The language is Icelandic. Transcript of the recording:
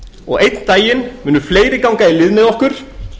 og einn daginn munu fleiri ganga í lið með okkur